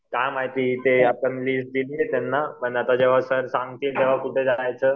काय माहिती ते आपण लिस्ट दिली त्यांना पण आता जेंव्हा सर सांगतील कुठं जायचं